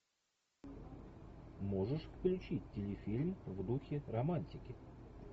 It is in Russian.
можешь включить телефильм в духе романтики